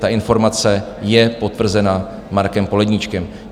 Ta informace je potvrzena Markem Poledníčkem.